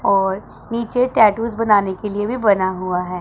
और नीचे टैटूस बनाने के लिए भी बना हुआ है।